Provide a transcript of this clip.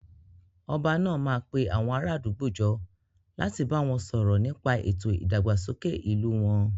Ọba náà máa pe àwọn ará àdúgbò jọ láti bá wọn sọ̀rọ̀ nípa ètò ìdàgbàsókè ìlú wọn